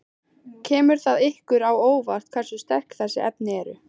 Kemur það ykkur á óvart hversu sterk þessi efni eru?